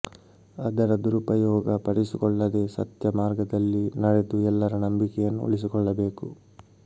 ಅದರ ದುರುಪಯೋಗ ಪಡಿಸಿಕೊಳ್ಳದೇ ಸತ್ಯ ಮಾರ್ಗದಲ್ಲಿ ನಡೆದು ಎಲ್ಲರ ನಂಬಿಕೆಯನ್ನು ಉಳಿಸಿಕೊಳ್ಳಬೇಕು